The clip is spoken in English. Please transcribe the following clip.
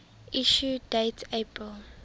issue date april